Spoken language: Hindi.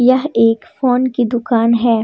वह एक फोन की दुकान है।